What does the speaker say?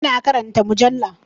Ina karanta mujalla.